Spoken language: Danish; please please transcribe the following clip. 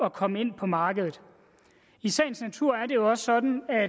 at komme ind på markedet i sagens natur er det jo også sådan at